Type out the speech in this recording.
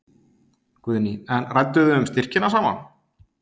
Guðný: En rædduð þið um styrkina saman?